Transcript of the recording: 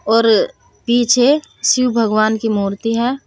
और पीछे शिव भगवान की मूर्ति है।